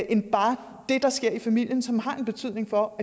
end bare det der sker i familien som har en betydning for